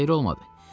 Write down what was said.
Xeyri olmadı.